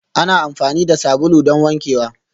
Ana amfani da sabulu don wankewa